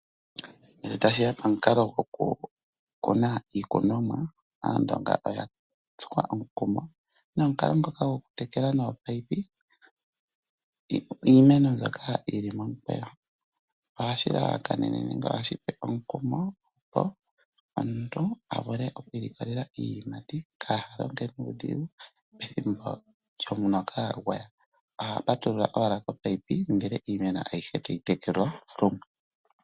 Ngele tashi ya pomukalo gwoku kuna iikunomwa, aandonga oya tsuwa omukumo nomukalo ngoka gwoku tekela nopayipi , iimeno mbyoka yili momukweyo, ohashi lalakanene nenge ohashi tsu omukumo omuntu avule okwilikolela iiyimati ka halonge nuudhigu pethimbo lyomuloka gwaya. Oha patulula owala ko payipi, imeno ayihe tayi tekelwa.